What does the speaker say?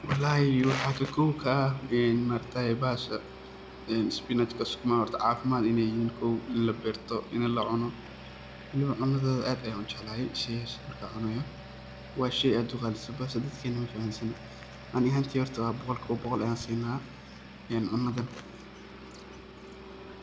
Wallahi waxa ka kow ah een maaragtaye bahasha spinachka, sukuma cafimad in ay yihin kow, ini laberto, ini lacuno waliba cunadoda aad ayan u jeclahay sheyaan markan cunayo waa sheey aad u qalisan balse dadkena mafahansano ani ahantey horto boqolkiba boqol ayan sinna een cunadan.